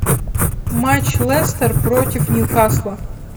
матч лестер против ньюкасла